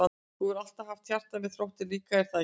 Þú hefur alltaf haft hjarta með Þrótti líka er það ekki?